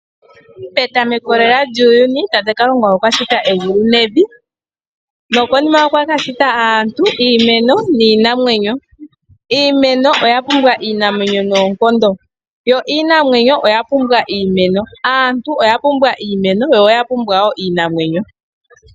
Petameko lela lyuuyuni, tate Kalunga okwashita egulu nevi , nokonima okwa kashita aantu, iimeno niinamwenyo . Iimeno oya pumbwa iinamwenyo noonkondo , yo iinamwenyo oyapumbwa iimeno. Aantu oya pumbwa iimeno niinamwenyo.